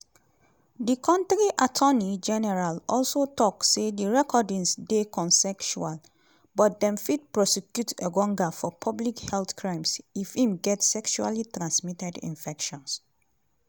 di kontri attorney general also tok say di recordings dey consensual but dem fit prosecute engonga for "public health crimes" if im get sexually-transmitted infection.